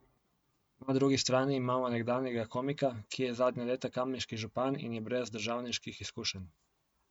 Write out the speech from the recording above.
Na drugi strani imamo nekdanjega komika, ki je zadnja leta kamniški župan in je brez državniških izkušenj.